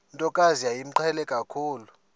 ntokazi yayimqhele kakhulu